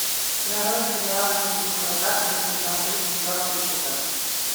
нарой сериал мир дикого запада сезон три четвертый эпизод